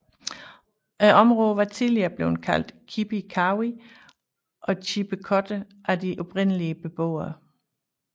Området var tidligere blevet kaldt Kipi Kawi og Chippecotton af de oprindelige beboere